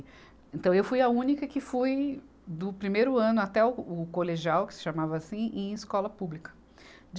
Então, eu fui a única que fui do primeiro ano até o, o colegial, que se chamava assim, em escola pública.